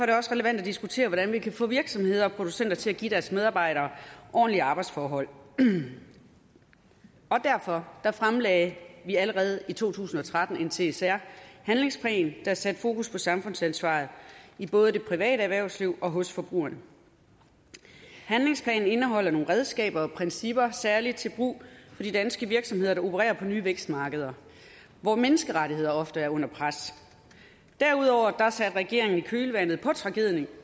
det også relevant at diskutere hvordan vi kan få virksomheder og producenter til at give deres medarbejdere ordentlige arbejdsforhold og derfor fremlagde vi allerede i to tusind og tretten en csr handlingsplan der satte fokus på samfundsansvaret i både det private erhvervsliv og hos forbrugerne handlingsplanen indeholder nogle redskaber og principper særlig til brug for de danske virksomheder der opererer på nye vækstmarkeder hvor menneskerettigheder ofte er under pres derudover satte regeringen i kølvandet på tragedien